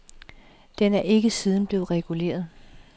Den er ikke siden blevet reguleret.